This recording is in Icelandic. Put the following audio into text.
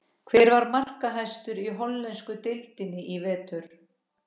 Hver var markahæstur í hollensku deildinni í vetur?